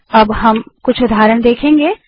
अब हम चौन के कुछ उदाहरण देखेंगे